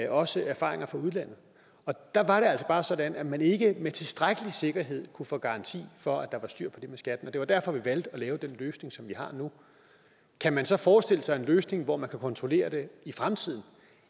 også erfaringer fra udlandet og der var det altså bare sådan at man ikke med tilstrækkelig sikkerhed kunne få garanti for at der var styr på det med skatten og det var derfor vi valgte at lave den løsning som vi har nu kan man så forestille sig en løsning hvor man kan kontrollere det i fremtiden